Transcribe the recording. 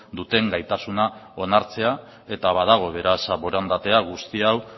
duten gaitasuna onartzea eta badago beraz borondatea guzti hau